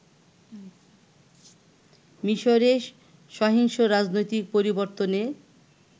মিশরে সহিংস রাজনৈতিক পরিবর্তনের